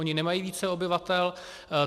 Oni nemají více obyvatel.